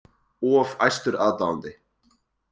Of æstur aðdáandi